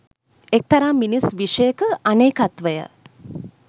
එක්තරා මිනිස් විෂයක අනේකත්වය